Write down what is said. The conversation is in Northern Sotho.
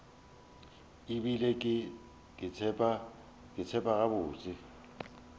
e bile ke tseba gabotse